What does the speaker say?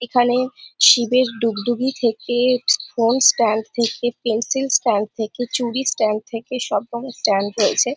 এখানে শিবের ডুগডুগি থেকে ফোন স্ট্যান্ড থেকে পেন্সিল স্ট্যান্ড থেকে চুড়ি স্ট্যান্ড থেকে সব রকমের স্ট্যান্ড রয়েছে।